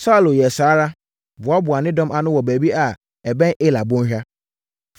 Saulo yɛɛ saa ara, boaboaa ne dɔm ano wɔ baabi a ɛbɛn Ela bɔnhwa.